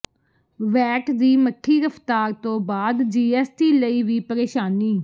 VAT ਦੀ ਮਠੀ ਰਫ਼ਤਾਰ ਤੋਂ ਬਾਅਦ ਜੀਐੱਸਟੀ ਲਈ ਵੀ ਪਰੇਸ਼ਾਨੀ